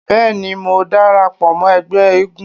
Bẹ́ẹ̀ni, mò ń dara pọ̀ ẹgbẹ́ eégún.